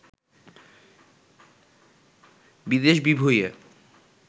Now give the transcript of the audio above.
বিদেশ-বিভূঁইয়ে